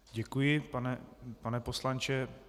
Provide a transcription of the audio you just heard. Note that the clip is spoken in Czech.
Děkuji, pane poslanče.